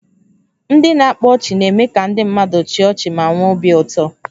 Ndị na-akpa ọchị na-eme ka ndị mmadụ chịa ọchị ma nwee obi ụtọ